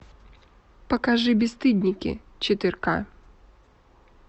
покажи бесстыдники четыре ка